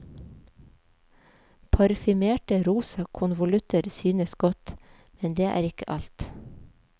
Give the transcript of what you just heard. Parfymerte rosa konvolutter synes godt, men det er ikke alt.